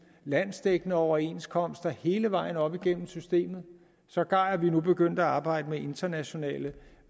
landsdækkende overenskomster hele vejen op igennem systemet sågar er vi nu begyndt at arbejde med internationale